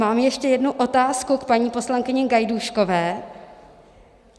Mám ještě jednu otázku k paní poslankyni Gajdůškové.